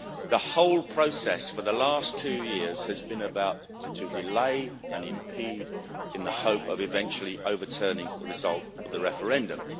The whole process for the last two years has been about to delay and impede in the hope of eventually overturning the result of the referendum.